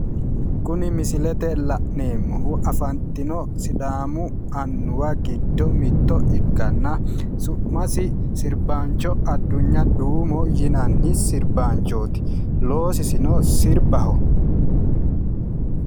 Kunni misillete la'neemohu afantino sidaamu annuwa gido mitto ikkanna su'masi sirbaancho adunya duumo yinnanni sirbaanchooti loosisino sirbaho.